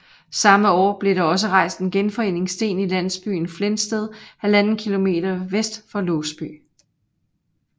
Samme år blev der også rejst en genforeningssten i landsbyen Flensted 1½ km vest for Låsby